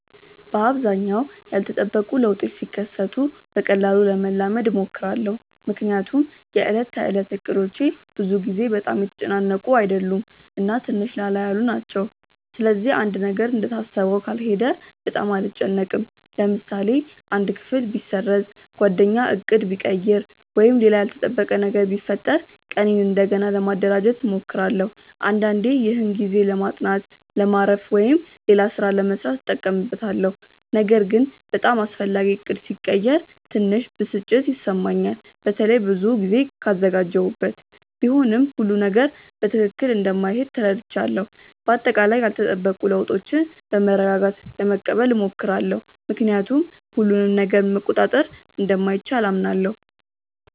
በአብዛኛው ያልተጠበቁ ለውጦች ሲከሰቱ በቀላሉ ለመላመድ እሞክራለሁ። ምክንያቱም የዕለት ተዕለት እቅዶቼ ብዙ ጊዜ በጣም የተጨናነቁ አይደሉም እና ትንሽ ላላ ያሉ ናቸው። ስለዚህ አንድ ነገር እንደታሰበው ካልሄደ በጣም አልጨነቅም። ለምሳሌ አንድ ክፍል ቢሰረዝ፣ ጓደኛ ዕቅድ ቢቀይር ወይም ሌላ ያልተጠበቀ ነገር ቢፈጠር ቀኔን እንደገና ለማደራጀት እሞክራለሁ። አንዳንዴ ይህን ጊዜ ለማጥናት፣ ለማረፍ ወይም ሌላ ሥራ ለመሥራት እጠቀምበታለሁ። ነገር ግን በጣም አስፈላጊ ዕቅድ ሲቀየር ትንሽ ብስጭት ይሰማኛል፣ በተለይ ብዙ ጊዜ ካዘጋጀሁበት። ቢሆንም ሁሉም ነገር በትክክል እንደማይሄድ ተረድቻለሁ። በአጠቃላይ ያልተጠበቁ ለውጦችን በመረጋጋት ለመቀበል እሞክራለሁ፣ ምክንያቱም ሁሉንም ነገር መቆጣጠር እንደማይቻል አምናለሁ።